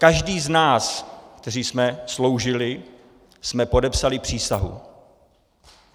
Každý z nás, kteří jsme sloužili, jsme podepsali přísahu.